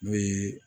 N'o ye